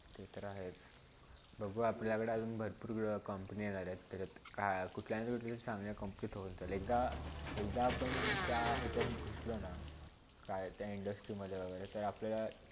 ते तर आहेस. बघू आपल्याकडे अजुन भरपुर वेगळा Company आला आहेत. तेच कुठल्या ना कुठल्याही चांगल्या Company होईल . एकदा -एकदा आपण त्याचात घुसलना तर, काय त्या industry वेगरै मध्ये तर आपल्याला